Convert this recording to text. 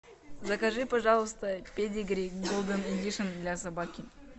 закажи пожалуйста педигри голден эдишн для собаки